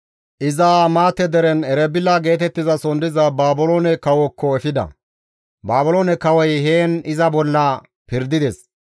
Iza Hamaate deren Erebila geetettizason diza Baabiloone kawookko efida; Baabiloone kawoy heen iza bolla pirdides.